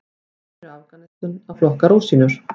Konur í Afganistan að flokka rúsínur.